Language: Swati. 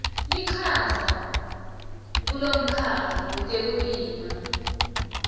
lichaza kulomkhakha wetekulima